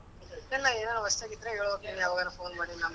ಮತ್ತೆ ಏನ್ ಹೊಸದಾಗ್ ಇದ್ರೆ ಹೇಳೋದು phone ಮಾಡು .